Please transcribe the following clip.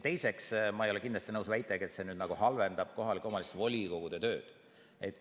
Teiseks, ma ei ole kindlasti nõus väitega, et see halvendab kohalike omavalitsuste volikogude tööd.